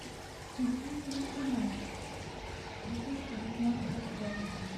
мстители финал две тысячи девятнадцатого года